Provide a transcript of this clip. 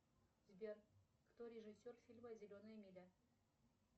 сбер кто режиссер фильма зеленая миля